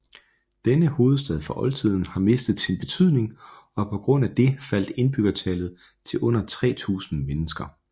Denne hovedstad fra oldtiden har mistet sin betydning og på grund af det faldt indbyggertallet til under 3000 mennesker